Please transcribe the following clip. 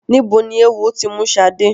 Níbo ni eéwo ti mú Ṣadé?